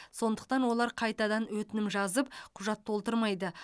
сондықтан олар қайтадан өтінім жазып құжат толтырмайды